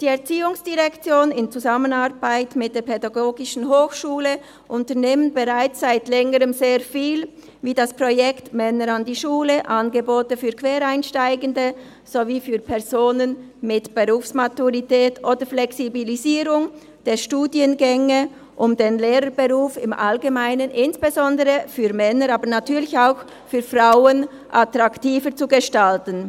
Die ERZ unternimmt in Zusammenarbeit mit der PH bereits seit Längerem sehr viel, wie das Projekt «Männer an die Schule», die Angebote für Quereinsteigende sowie für Personen mit Berufsmaturität oder die Flexibilisierung der Studiengänge, um den Lehrberuf im Allgemeinen insbesondere für Männer, aber natürlich auch für Frauen attraktiver zu gestalten.